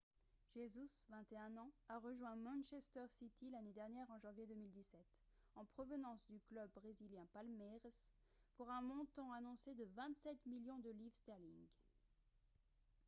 jesus 21 ans a rejoint manchester city l'année dernière en janvier 2017 en provenance du club brésilien palmeiras pour un montant annoncé de 27 millions de livres sterling